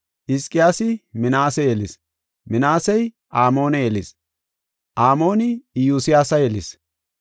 Hizqiyaasi Minaase yelis; Minaasey Amoone yelis; Amooni Iyosiyaasa yelis;